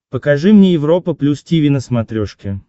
покажи мне европа плюс тиви на смотрешке